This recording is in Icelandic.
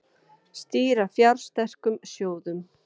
Stýra fjársterkum sjóðum